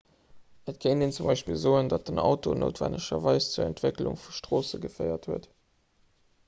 et kéint een zum beispill soen datt den auto noutwennegerweis zur entwécklung vu stroosse geféiert huet